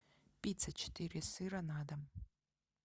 пицца четыре сыра на дом